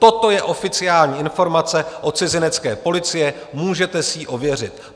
Toto je oficiální informace od cizinecké policie, můžete si ji ověřit.